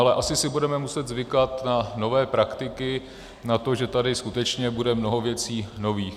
Ale asi si budeme muset zvykat na nové praktiky, na to, že tady skutečně bude mnoho věcí nových.